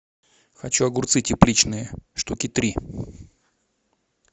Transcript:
хочу огурцы тепличные штуки три